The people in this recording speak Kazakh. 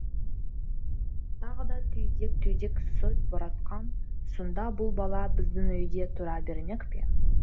тағы да түйдек түйдек сөз боратқан сонда бұл бала біздің үйде тұра бермек пе